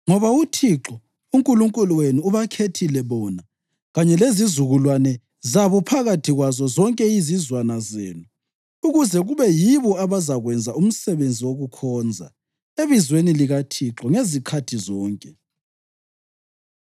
ngoba uThixo uNkulunkulu wenu ubakhethile bona kanye lezizukulwane zabo phakathi kwazo zonke izizwana zenu ukuze kube yibo abazakwenza umsebenzi wokukhonza ebizweni likaThixo ngezikhathi zonke.